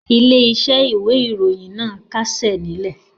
Ilé-iṣẹ́ ìwé-ìròyìn náà kásẹ̀ nílẹ̀.